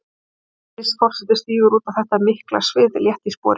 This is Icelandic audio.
Vigdís forseti stígur út á þetta mikla svið létt í spori.